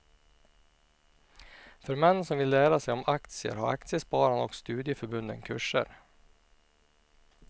För män som vill lära sig om aktier har aktiespararna och studieförbunden kurser.